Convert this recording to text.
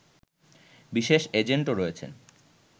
বিশেষ এজেন্টও রয়েছেন